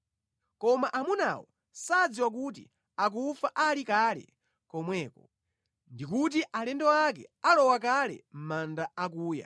Koma amunawo sadziwa kuti akufa ali kale komweko, ndi kuti alendo ake alowa kale mʼmanda akuya.